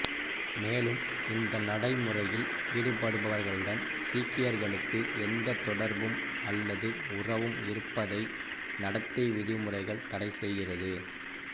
மேலும் இந்த நடைமுறையில் ஈடுபடுபவர்களுடன் சீக்கியர்களுக்கு எந்த தொடர்பும் அல்லது உறவும் இருப்பதை நடத்தை விதிமுறைகள் தடை செய்கிறது